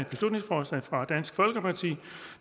beslutningsforslag fra dansk folkeparti